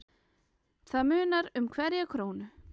Það munar um hverja krónu.